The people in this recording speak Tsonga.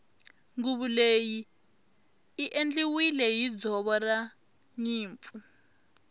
nguvu leyi i endliwile hi ndzoro ranyimpfu